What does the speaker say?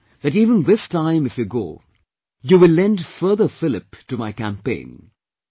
I am sure that even this time if you go, you will lend further fillip to my campaign